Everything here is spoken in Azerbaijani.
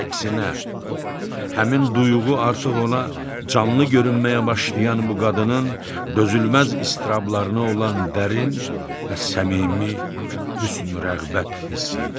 Əksinə, həmin duyğu artıq ona canlı görünməyə başlayan bu qadının dözülməz istirablarına olan dərin və səmimi hüsn-rəğbət hissi idi.